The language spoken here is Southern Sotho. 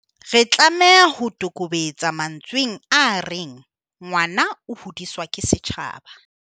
Re tlameha ho toboketsa mantsweng a reng "ngwana o hodiswa ke setjhaba".